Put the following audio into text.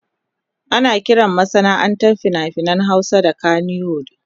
Ana kiran masana'antar fina-finan Hausa kannywood.